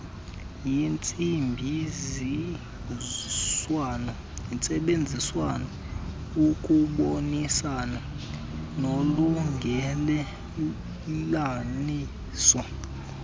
yentsebenziswano ukubonisana nolungelelaniso